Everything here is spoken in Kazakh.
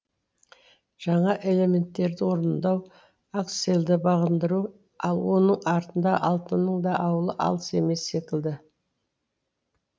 жаңа элементтерді орындау аксельді бағындыру ал оның артында алтынның да ауылы алыс емес секілді